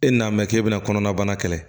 E nan'a mɛn k'e bɛna kɔnɔnabana kɛlɛ